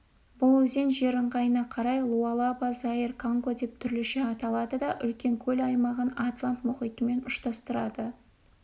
бұл өзен жер ыңғайына қарай луалаба заир конго деп түрліше аталады да үлкен көл аймағын атлант мұхитымен ұштастырады